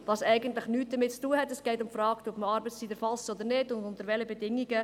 Es geht um die Frage, ob man Arbeitszeit erfasst oder nicht und unter welchen Bedingungen.